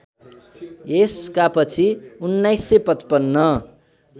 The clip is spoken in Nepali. यसका पछि १९५५